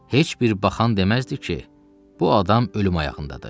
Heç bir baxan deməzdi ki, bu adam ölüm ayağındadır.